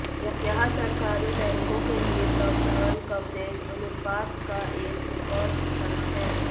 यह सरकारी बैंकों के लिए प्रावधान कवरेज अनुपात का एक रिकॉर्ड स्तर है